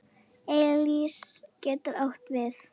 Elís getur átt við